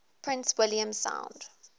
prince william sound